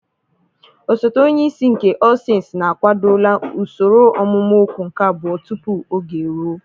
Osote onye isi nke All sensii na-akwadola usoro ọmụmụ okwu nke abụọ tupu oge eruo.